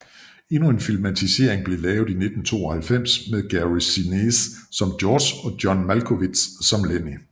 Endnu en filmatisering blev lavet i 1992 med Gary Sinise som George og John Malkovich som Lennie